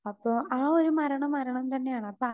Speaker 2 അപ്പോ ആ ഒരു മരണം മരണം തന്നെ ആണ്. അപ്പോ